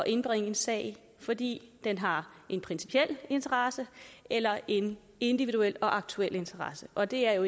indbringe en sag fordi den har en principiel interesse eller en individuel og aktuel interesse og det er jo